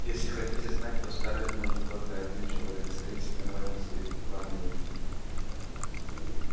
если хотите знать то скарлетт нужен только один человек с таинственной важностью изрекла милочка